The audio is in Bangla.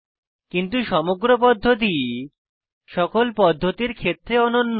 কিন্তু সমগ্র পদ্ধতি সকল পদ্ধতির ক্ষেত্রে অনন্য